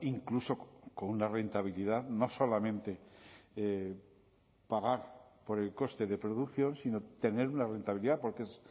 incluso con una rentabilidad no solamente pagar por el coste de producción sino tener una rentabilidad porque es